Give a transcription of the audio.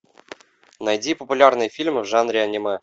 найди популярные фильмы в жанре аниме